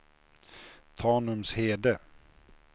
Tanumshede